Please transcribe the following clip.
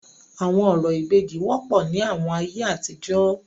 Awọn orȯ ìbejì wọpọ ni awọn aiye atijọ.